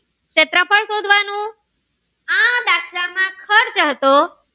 ખર્ચો હતો.